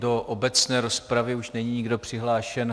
Do obecné rozpravy už není nikdo přihlášen.